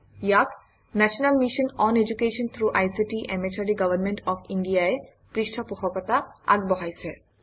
ইয়াক national mission on education through ICT MHRD government of India ই পৃষ্ঠপোষকতা আগবঢ়াইছে